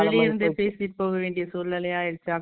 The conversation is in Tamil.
பேசிட்டு போக வேண்டிய சூழ்நிலை ஆயிடுச்சு